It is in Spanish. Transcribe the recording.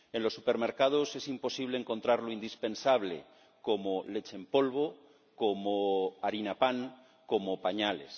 En los supermercados es imposible encontrar lo indispensable, como leche en polvo, como Harina PAN, como pañales.